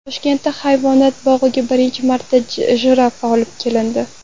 Toshkent hayvonot bog‘iga birinchi marta jirafa olib kelindi.